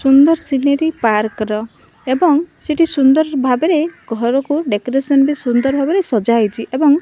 ସୁନ୍ଦର scenery park ର ଏବଂ ସେଠି ସୁନ୍ଦର ଭାବରେ ଘରକୁ ଡେକୋରେସନ୍ ବି ସୁନ୍ଦର ଭାବରେ ସଜା ହୋଇଛି ଏବଂ --